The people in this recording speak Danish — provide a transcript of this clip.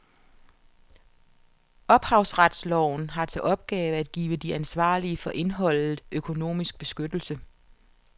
Ophavsretsloven har til opgave at give de ansvarlige for indholdet økonomisk beskyttelse.